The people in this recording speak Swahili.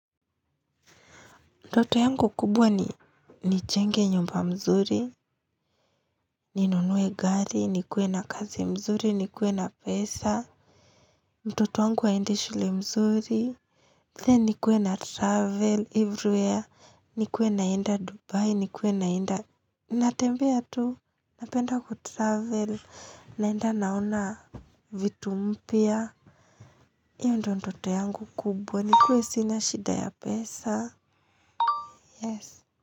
Ndoto yangu kubwa ni nijenge nyumba mzuri. Ni nunue gari, ni kuwe na kazi mzuri, ni kuwe na pesa. Mtoto wangu aende shule mzuri Then ni kuwe na travel, everywhere, ni kuwe naenda dubai, ni kuwe naenda natembea tu. Napenda ku travel, naenda naona vitu mpya. Iyo ndoto yangu kubwa, ni kuwe sina shida ya pesa.